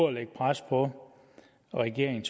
at lægge pres på regeringen